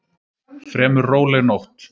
Fremur róleg nótt